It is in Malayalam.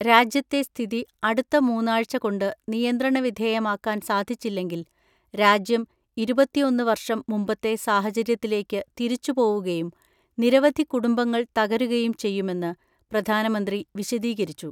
രാജ്യത്തെ സ്ഥിതി അടുത്ത മൂന്നാഴ്ച കൊണ്ട്നി യന്ത്രണ വിധേയമാക്കാൻ സാധിച്ചില്ലെങ്കിൽ രാജ്യം ഇരുപത്തിഒന്ന് വർഷം മുമ്പത്തെ സാഹചര്യത്തിലേക്കു തിരിച്ചു പോവുകയും നിരവധി കുടുംബങ്ങൾ തകരുകയും ചെയ്യുമെന്ന് പ്രധാനമന്ത്രി വിശദീകരിച്ചു.